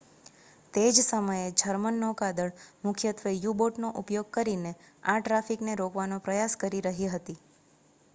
તે જ સમયે જર્મન નૌકાદળ મુખ્યત્વે યુ-બોટનો ઉપયોગ કરીને આ ટ્રાફિકને રોકવાનો પ્રયાસ કરી રહી હતી